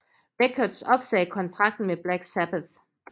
Records opsagde kontrakten med Black Sabbath